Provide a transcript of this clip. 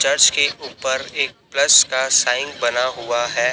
Church के ऊपर एक प्लस का साइन बना हुआ है।